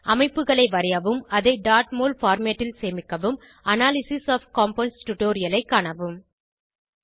அமைப்புகளை வரையவும் அதை mol பார்மேட் ல் சேமிக்கவும் அனாலிசிஸ் ஒஃப் கம்பவுண்ட்ஸ் டுடோரியலைக் காணவும்